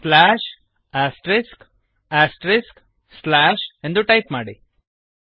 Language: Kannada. ಸ್ಲ್ಯಾಶ್ ಆಸ್ಟರಿಕ್ಸ್ ಆಸ್ಟರಿಕ್ಸ್ ಸ್ಲ್ಯಾಶ್ ಎಂದು ಟೈಪ್ ಮಾಡಿ